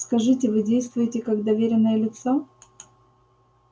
скажите вы действуете как доверенное лицо